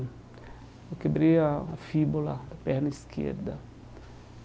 Eu quebrei a a fíbula da perna esquerda.